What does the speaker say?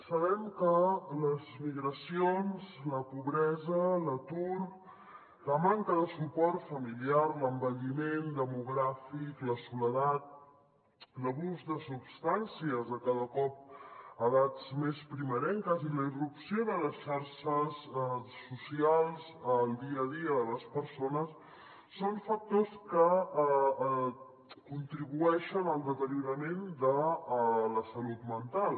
sabem que les migracions la pobresa l’atur la manca de suport familiar l’envelliment demogràfic la soledat l’abús de substàncies cada cop a edats més primerenques i la irrupció de les xarxes socials al dia a dia de les persones són factors que contribueixen al deteriorament de la salut mental